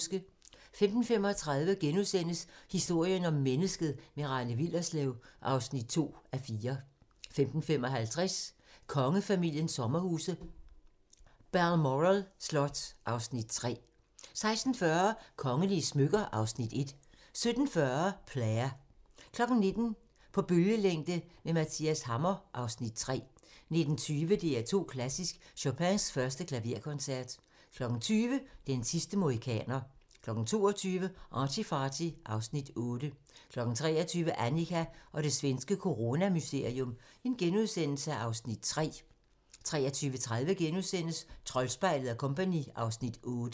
15:35: Historien om mennesket - med Rane Willerslev (2:4)* 15:55: Kongefamiliens sommerhus - Balmoral slot (Afs. 3) 16:40: Kongelige smykker (Afs. 1) 17:40: Player 19:00: På bølgelængde med Mathias Hammer (Afs. 3) 19:20: DR2 Klassisk: Chopins 1. Klaverkoncert 20:00: Den sidste mohikaner 22:00: ArtyFarty (Afs. 8) 23:00: Annika og det svenske coronamysterium (Afs. 3)* 23:30: Troldspejlet & Co. (Afs. 8)*